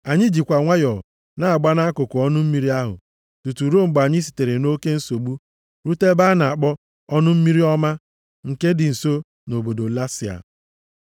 Anyị jikwa nwayọọ na-agba nʼakụkụ ọnụ mmiri ahụ tutu ruo mgbe anyị sitere nʼoke nsogbu rute ebe a na-akpọ ọnụ mmiri ọma, nke dị nso nʼobodo Lasia.